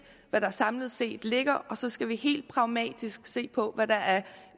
hvad der samlet set ligger og så skal vi helt pragmatisk se på hvad der er